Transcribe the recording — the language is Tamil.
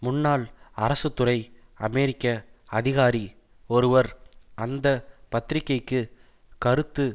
முன்னாள் அரசு துறை அமெரிக்க அதிகாரி ஒருவர் அந்த பத்திரிக்கைக்கு கருத்து